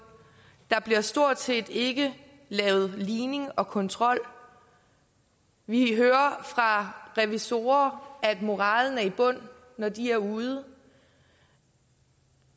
der bliver stort set ikke lavet ligning og kontrol vi hører fra revisorer at moralen er i bund når de er ude